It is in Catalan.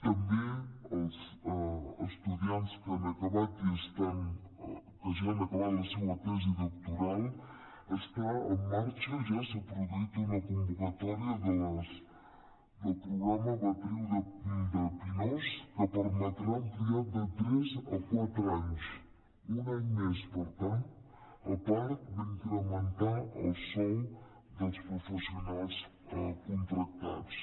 també els estudiants que ja han acabat la seva tesi doctoral està en marxa ja s’ha produït una convocatòria del programa beatriu de pinós que permetrà ampliar de tres a quatre anys un any més per tant a part d’incrementar el sou dels professionals contractats